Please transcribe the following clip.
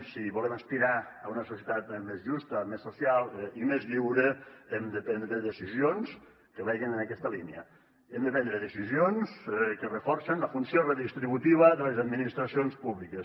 si volem aspirar a una societat més justa més social i més lliure hem de prendre decisions que vagin en aquesta línia hem de prendre decisions que reforcen la funció redistributiva de les administracions públiques